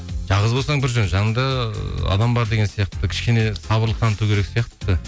жалғыз болсаң бір жөн жаныңда ыыы адам бар деген сияқты кішкене сабырлық таныту керек сияқты